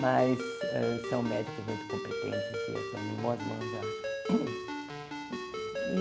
Mas eh são médicos muito competentes e eu estou em boas mãos, eu acho.